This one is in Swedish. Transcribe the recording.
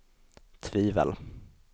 tvivel